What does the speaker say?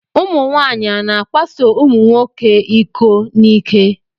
Ụmụnwaanyị a na-akwaso ụmụnwoke iko n'ike?